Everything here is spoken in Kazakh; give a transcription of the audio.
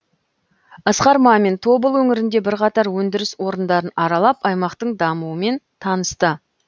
асқар мамин тобыл өңірінде бірқатар өндіріс орындарын аралап аймақтың дамуымен танысты